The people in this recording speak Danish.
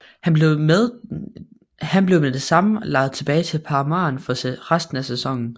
Han blev med det samme lejet tilbage til Parma for resten af sæsonen